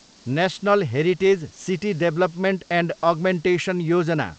national heritage city development and augmentation Yojana